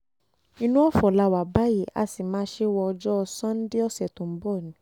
inú ọ̀fọ̀ la wà báyìí a sì máa ṣe é wo ọjọ́ sannde ọ̀sẹ̀ tó ń bọ̀ ni